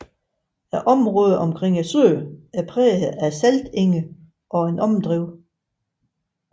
Området omkring søen er præget af saltenge og overdrev